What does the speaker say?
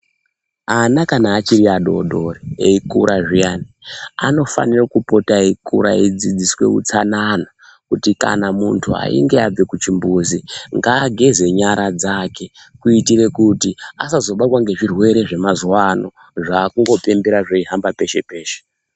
Ana kana achiri adodori eyi kura zviyani anofanire kupota eyi kura eyi dzidziswe utsanana kuti kana muntu achinge abve ku chimbuzi ngaa geze nyara dzake kuitire kuti asazo batwa nge zvirwere zvema zuva ano zvakungo tenderera zveyi hamba peshe peshe.